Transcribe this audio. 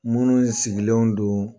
Minnu sigilenw don